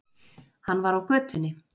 Hann var á götunni.